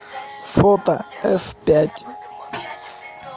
фото эфпять